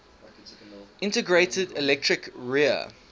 integrated electric rear